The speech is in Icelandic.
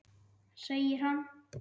Segir hann.